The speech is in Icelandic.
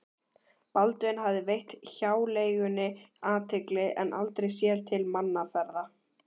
Baldvin hafði veitt hjáleigunni athygli en aldrei séð til mannaferða.